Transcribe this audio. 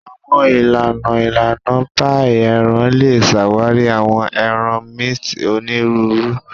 Awọn ilana ilana paii eran le ṣawari awọn ẹran minced oniruuru.